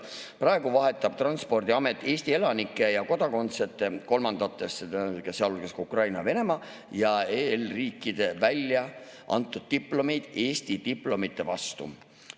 Praegu vahetab Transpordiamet Eesti elanike ja kodakondsete kolmandates riikides, sealhulgas Ukraina ja Venemaa, ja EL‑i riikides väljaantud diplomid Eesti diplomite vastu.